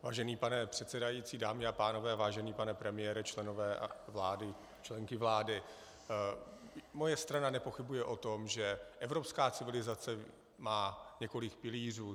Vážený pane předsedající, dámy a pánové, vážený pane premiére, členové a členky vlády, moje strana nepochybuje o tom, že evropská civilizace má několik pilířů.